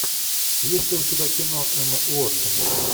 есть ли у тебя кино эмма уотсон